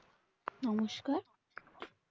নমস্কার